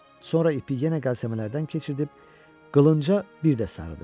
Sonra ipi yenə qəlsəmələrdən keçirdib qılınca bir də sarıdı.